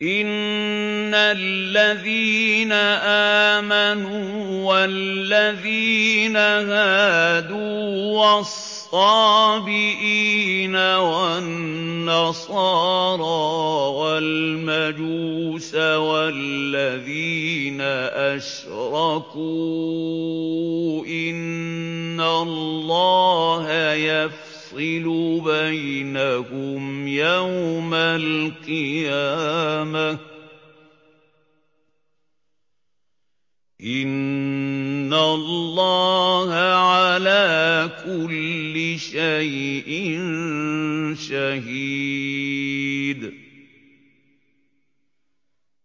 إِنَّ الَّذِينَ آمَنُوا وَالَّذِينَ هَادُوا وَالصَّابِئِينَ وَالنَّصَارَىٰ وَالْمَجُوسَ وَالَّذِينَ أَشْرَكُوا إِنَّ اللَّهَ يَفْصِلُ بَيْنَهُمْ يَوْمَ الْقِيَامَةِ ۚ إِنَّ اللَّهَ عَلَىٰ كُلِّ شَيْءٍ شَهِيدٌ